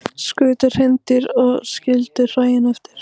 Skutu hreindýr og skildu hræin eftir